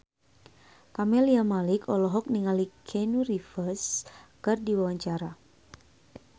Camelia Malik olohok ningali Keanu Reeves keur diwawancara